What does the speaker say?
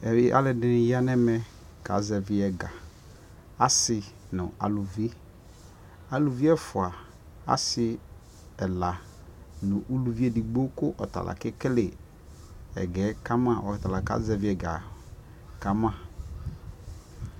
ɛmɛ alʋɛdini yanʋ ɛmɛ ka zɛvi ɛga asii nʋ alʋvi, alʋvi ɛƒʋa, asii ɛla nʋ ʋlʋvi ɛdigbɔ kʋ ɔtala kɛkɛlɛ ɛgaɛ kamaɔtala ka zɛvi ɛga kama